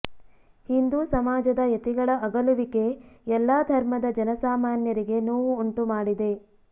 ಹಿಂದೂ ಸಮಾಜದ ಯತಿಗಳ ಅಗಲುವಿಕೆ ಎಲ್ಲಾ ಧರ್ಮದ ಜನಸಾಮಾನ್ಯರಿಗೆ ನೋವು ಉಂಟುಮಾಡಿದೆ